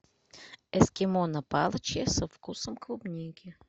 эскимо на палочке со вкусом клубники